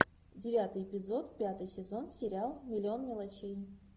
девятый эпизод пятый сезон сериал миллион мелочей